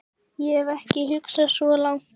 Ég hef ekki hugsað svo langt.